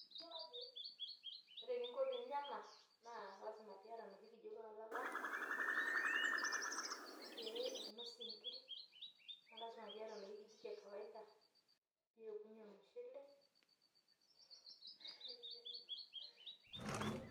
Ore eningo pinya ena naa lasima piata enoshi kijiko olala pee inossie inkiri naa lasima pee iyata enoshi kijiko e kawaida piokunyie ormushele.